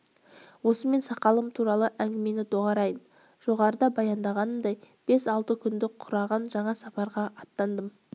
осымен сақалым туралы әңгімені доғарайын жоғарыда баяндағанымдай бес-алты күнді құраған жаңа сапарға аттандым